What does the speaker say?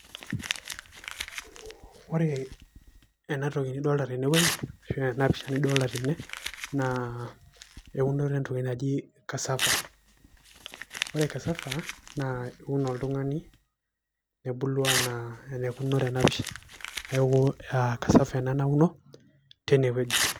Ore enatoki nidolita tenewueji naa enapisha nidolita tene naa eunoto entoki naji casava, ore casava naa keun oltungani nebulu anaa enaikununo tenapisha neaku cs casava cs ena nauno teinewueji.